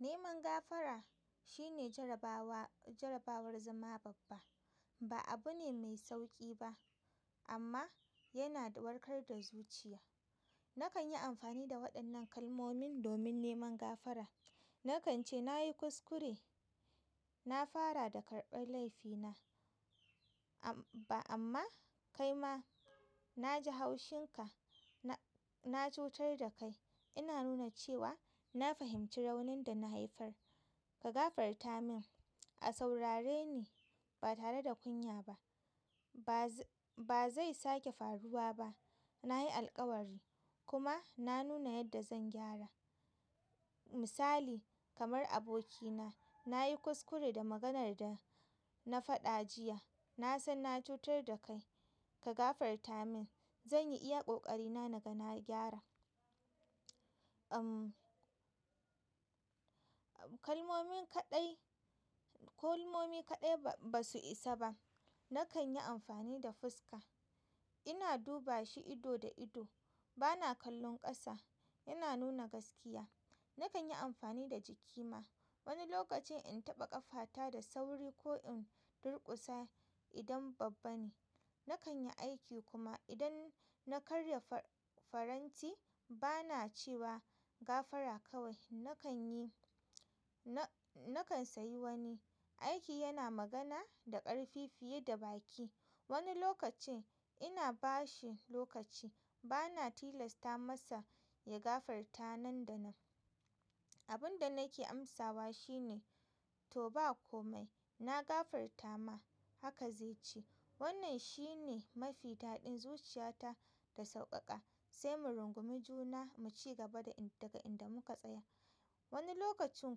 Neman gafara shine jarabawa, jarabawar zama babba. Ba abu ne mai sauƙi ba amma yana warkar da zuciya. Nakan yi amfani da waɗannan kalmomin domin neman gafara. Nakan ce na yi kuskure, na fara da karɓar laifina ba amma kai ma na ji haushinka, na cutar da kai. Ina nuna cewa na fahimci raunin da na haifar. Ka gafarta min a saurare ni ba tare da kunya ba. Ba zai sake faruwa ba. Na yi alkawari kuma na nuna yadda zan gyara. Misali kamar abokina, na yi kuskure da maganar da na faɗa jiya. Na san na cutar da kai. Ka gafartamun. Zan iya ƙoƙari na daga na gyara. Uhm, kalmomin kaɗai, ko kalmomi kaɗai ba su isa ba. Nakan yi amfani da fuska. Ina duba shi ido da ido. Bana kallon ƙasa, yana nuna gaskiya. Nakan yi amfani da jiki ma. Wani lokacin in taɓa ƙafata da sauri ko in durƙusa idan babba ne. Nakan yi aiki kuma idan na karya faranti bana cewa gafara kawai. Nakan yi, na kan sayi wani aiki yana magana da ƙarfi fiye da baki. Wani lokacin ina ba shi lokaci. Bana tilasta masa ya gafarta nan da nan. Abin da nake amsawa shi ne to ba komai. Na gafarta ma haka zaice. Wannan shi ne mafi daɗin zuciyata da sauƙaƙa. Sai mu rungumi juna mu ci gaba daga inda muka tsaya. Wani lokacin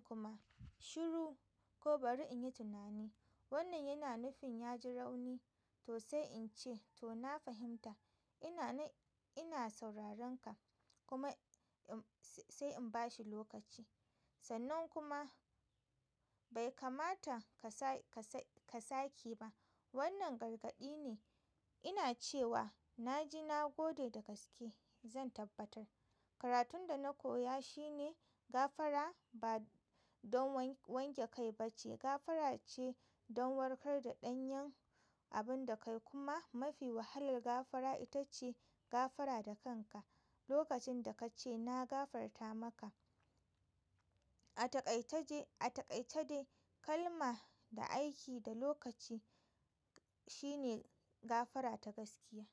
kuma shiru ko bari in yi tunani. Wannan yana nufin ya ji rauni to sai in ce to na fahimta. Ina, ina saurarenka kuma sai in ba shi lokaci. Sannan kuma bai kamata ka sake, ka sake ba. Wannan gargaɗi ne. Ina cewa na ji na gode da gaske. Zan tabbatar. Karatun da na koya shi ne gafara ba don wanke kai bace. Gafarace don warkarda ɗanyen abunda kayi kuma mafi wahalar gafara itace gafara da kanka lokacinda kace na gafarta maka. A taƙaitace, a taƙaitace dai kalma da aiki da lokaci shine gafara ta gaskiya.